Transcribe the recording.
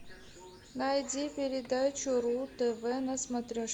найди передачу ру тв на смотрешке